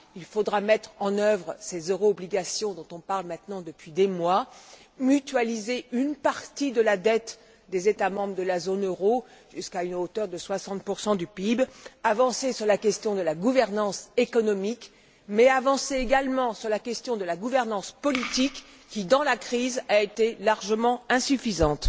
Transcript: Il faudra mettre en œuvre ces euro obligations dont on parle maintenant depuis des mois, mutualiser une partie de la dette des États membres de la zone euro jusqu'à une hauteur de 60 du PIB, avancer sur la question de la gouvernance économique, mais également sur celle de la gouvernance politique qui, dans la crise, a été largement insuffisante.